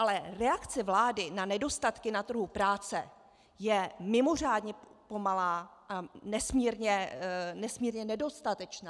Ale reakce vlády na nedostatky na trhu práce je mimořádně pomalá a nesmírně nedostatečná.